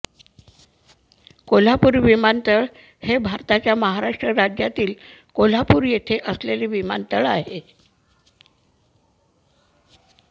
कोल्हापूर विमानतळ हे भारताच्या महाराष्ट्र राज्यातील कोल्हापूर येथे असलेले विमानतळ आहे